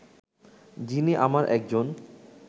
যিনি আমার একজন